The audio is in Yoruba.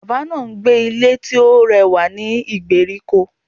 Bàbá náà n gbé Ilé tí ó rẹwà ní ìgbèríko